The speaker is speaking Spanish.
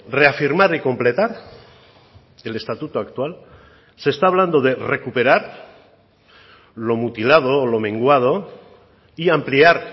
reafirmar y completar el estatuto actual se está hablando de recuperar lo mutilado o lo menguado y ampliar